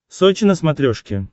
сочи на смотрешке